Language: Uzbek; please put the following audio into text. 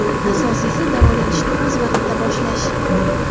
Asosiysi davolanishni o‘z vaqtida boshlash!